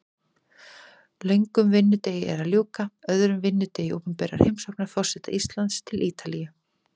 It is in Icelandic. Löngum vinnudegi er að ljúka, öðrum degi opinberrar heimsóknar forseta Íslands til Ítalíu.